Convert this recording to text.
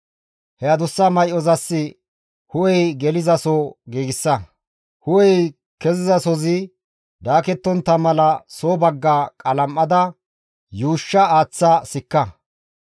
He adussa may7ozas hu7ey gelizaso giigsa. Hu7ey kezizasozi daakettontta mala soo bagga qalam7ada yuushsha aaththa sikka.